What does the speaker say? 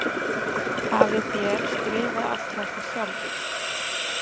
Hafið þér skrifað allt þetta sjálfur?